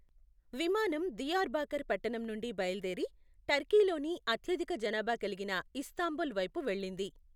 విమానం దియార్బాకర్ పట్టణం నుండి బయలుదేరి, టర్కీలోని అత్యధిక జనాభా కలిగిన ఇస్తాంబుల్ వైపు వెళ్లింది.